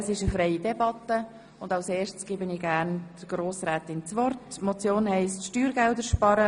Das bedeutet, dass wir ziffernweise abstimmen werden.